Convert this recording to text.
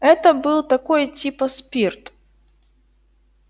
это был такой типа спирт